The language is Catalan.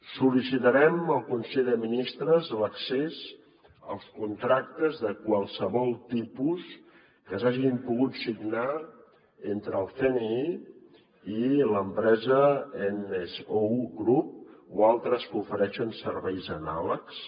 sol·licitarem al consell de ministres l’accés als contractes de qualsevol tipus que s’hagin pogut signar entre el cni i l’empresa nso group o altres que ofereixen serveis anàlegs